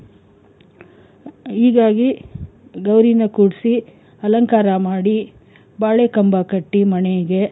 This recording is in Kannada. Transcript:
ಹೀಗಾಗಿ ಗೌರೀನ ಕೂರ್ಸಿ ಅಲಂಕಾರ ಮಾಡಿ ಬಾಳೆ ಕಂಬ ಕಟ್ಟಿ ಮನೆಗೆ,